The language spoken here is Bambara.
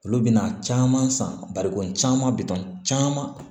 Olu bɛna caman san barikon caman bɛ don caman